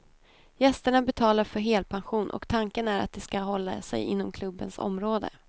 Gästerna betalar för helpension och tanken är att de ska hålla sig inom klubbens område.